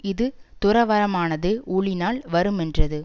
இது துறவறமானது ஊழினால் வருமென்றது